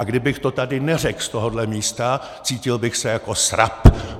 A kdybych to tady neřekl z tohohle místa, cítil bych se jako srab!